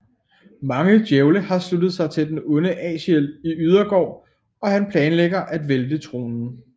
Mange djævle har sluttet sig til den onde Aziel i ydergård og han planlægger at vælte tronen